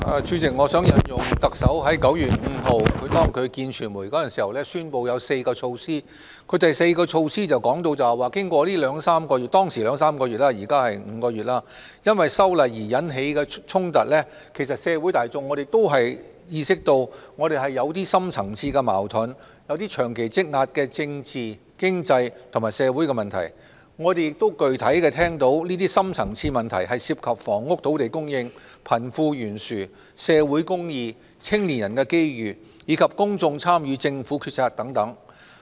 主席，我想引述特首在9月5日會見傳媒時宣布的4項措施，第四項措施提到，經過兩三個月——當時是兩三個月，現時是5個月——因為修例而引起的衝突，社會大眾都意識到我們是有深層次矛盾，有些長期積壓的政治、經濟及社會的問題。我們亦具體聽到，這些深層次問題涉及房屋及土地供應、貧富懸殊、社會公義、青年人的機遇，以及公眾參與政府決策等。